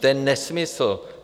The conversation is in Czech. To je nesmysl.